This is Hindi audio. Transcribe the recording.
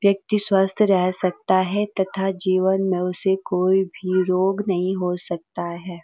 व्यक्ति स्वस्थ रह सकता है तथा जीवन में उसे कोई भी रोग नहीं हो सकता है।